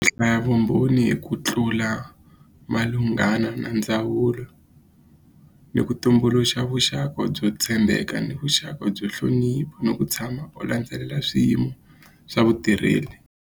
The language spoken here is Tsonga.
Hlaya vumbhoni hi ku tlula malunghana na ndzawulo ni ku tumbuluxa vuxaka byo tshembeka ni vuxaka byo ni ku tshama u landzelela swiyimo swa vutirheli.